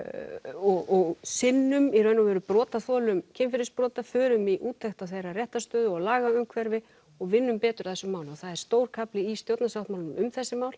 og sinnum í raun og veru brotaþolum kynferðisbrota förum í úttekt á þeirra réttarstöðu og lagaumhverfi og vinnum betur að þessum málum og það er stór kafli í stjórnarsáttmálanum um þessi mál